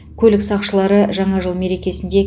көлік сақшылары жаңа жыл мерекесінде